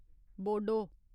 Bodo